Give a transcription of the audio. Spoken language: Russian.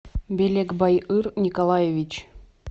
белекбайыр николаевич